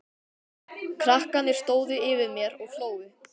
Krakkarnir stóðu yfir mér og hlógu.